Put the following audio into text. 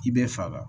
I bɛ faga